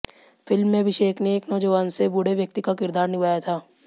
film में अभिषेक ने एक नौजवान से बूढ़े व्यक्ति का किरदार निभाया था